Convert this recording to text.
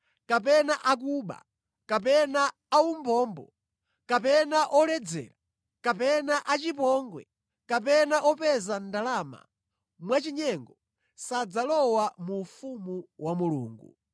kapena akuba, kapena aumbombo, kapena oledzera, kapena achipongwe, kapena opeza ndalama mwachinyengo sadzalowa mu ufumu wa Mulungu.